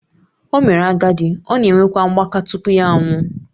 O mere agadi, ọ na-enwekwa mgbaka tupu ya anwụọ